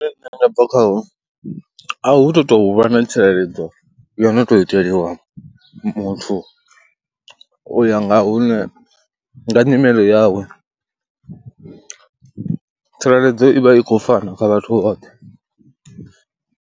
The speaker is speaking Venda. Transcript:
Hune nṋe nda bva khaho a hu tu tou u vha na tsireledzo yo no tou iteliwa muthu u ya nga hune, nga nyimele yawe, tsireledzo i vha i khou fana kha vhathu vhoṱhe.